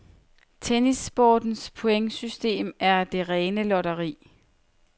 Tennissportens pointsystem er det rene lotteri.